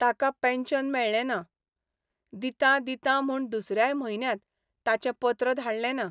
ताका पेन्शन मेळ्ळैना, दितां दितां म्हूण दुसऱ्याय म्हयन्यांत ताचें पत्र धाडलेंना.